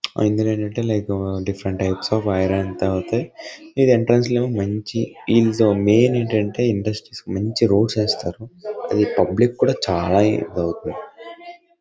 ఆ ఇందులో ఏంటంటే like different types of iron ఏంతో అవుతాయ్. తర్వాత ఇది ఎంట్రన్స్ లో మంచి అది పబ్లిక్ కూడా చాలా హెల్ప్ అవుతుంది.